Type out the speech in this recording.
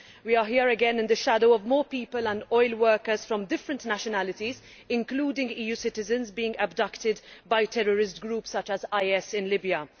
We are here again in the shadow of more people and oil workers of different nationalities, including EU citizens, being abducted by terrorist groups such as IS in Libya.